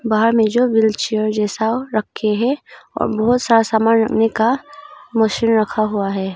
बाहर में जो व्हीलचेयर जैसा रखे हैं और बहोत सारा सामान रखने का मशीन रखा हुआ है।